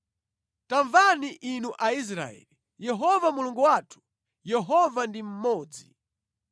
Tamvani inu Aisraeli, Yehova Mulungu wathu, Yehova ndi mmodzi.